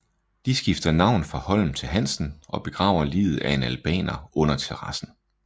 De skifter navn fra Holm til Hansen og begraver liget af en albaner under terrassen